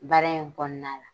Baara in kɔnɔna la.